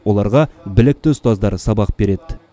оларға білікті ұстаздар сабақ береді